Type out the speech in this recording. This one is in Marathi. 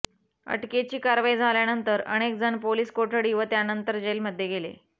अटकेची कारवाई झाल्यानंतर अनेकजण पोलिस कोठडी व त्यानंतर जेलमध्ये गेले